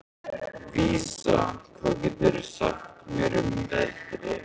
Vísa, hvað geturðu sagt mér um veðrið?